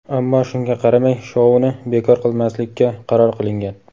ammo shunga qaramay shouni bekor qilmaslikka qaror qilingan.